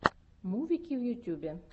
мувики в ютюбе